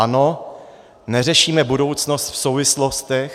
Ano, neřešíme budoucnost v souvislostech.